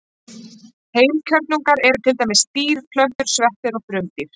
Heilkjörnungar eru til dæmis dýr, plöntur, sveppir og frumdýr.